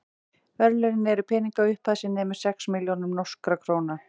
verðlaunin eru peningaupphæð sem nemur sex milljónum norskra króna